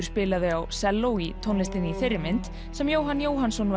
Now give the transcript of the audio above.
spilaði á selló í tónlistinni i ií þeirri mynd sem Jóhann Jóhannsson